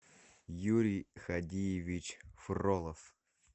юрий хадиевич фролов